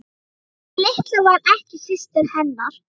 Sú litla var ekki systir hennar.